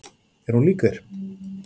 Er hún lík þér?